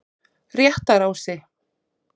Réttarási